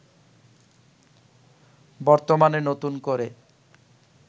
বর্তমানে নতুন করে